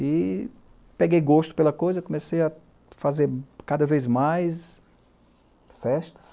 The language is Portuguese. E peguei gosto pela coisa, comecei a fazer cada vez mais festas.